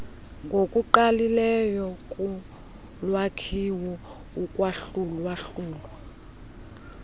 ngokungqalileyo kulwakhiwo ukwahlulwahlulwa